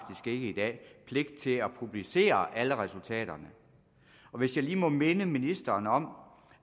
ikke i dag pligt til at publicere alle resultaterne hvis jeg lige må minde ministeren om